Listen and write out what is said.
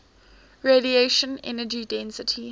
radiation energy density